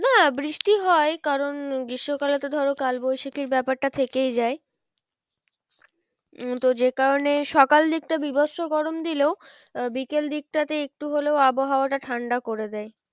না বৃষ্টি হয় কারণ গ্রীষ্মকালে তো ধরো কাল বৈশাখীর ব্যাপারটা থেকেই যায় উম যে কারণে সকাল দিকটা বীভৎস গরম দিলেও আহ বিকেল দিকটাতে একটু হলেও আবহাওয়াটা ঠান্ডা করে দেয়।